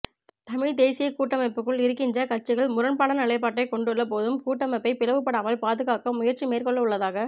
தமிழ்த் தேசியக் கூட்டமைப்புக்குள் இருக்கின்ற கட்சிகள் முரண்பாடான நிலைப்பாட்டை கொண்டுள்ள போதும் கூட்டமைப்பை பிளவு படாமல் பாதுகாக்க முயற்சி மேற்கொள்ளவுள்ளதாக